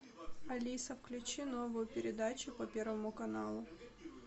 алиса включи новую передачу по первому каналу